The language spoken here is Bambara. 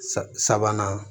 Sabanan